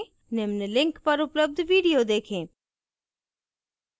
निम्न link पर उपलब्ध video देखें